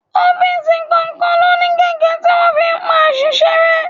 Ọ́fíìsì kọ̀ọ̀kan ló ní gege tí wọ́n fi ń pa àṣìṣe rẹ.